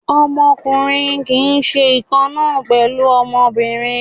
Ọmọkùnrin kì í ṣe ìkan náà pẹ̀lú ọmọbìnrin.